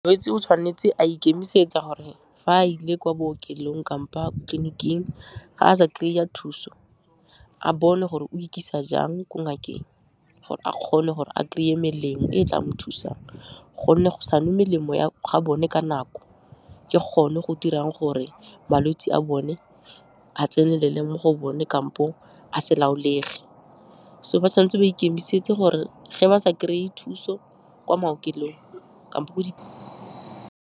Molwetse o tshwanetse a ikemisetsa gore fa a ile kwa bookelong tleliniking ga a sa kry-a thuso, a bone gore o ikisa jang ko ngakeng gore a kgone gore a kry-e melemo e e tla mo thusang, gonne go sa nwe melemo ya ga bone ka nako, ke gone go dirang gore malwetse a bone a tsenelele mo go bone kampo a se laolege. So, ba tshwan'tse ba ikemisetse gore ge ba sa kry-e thuso kwa maokelong kampo ko di.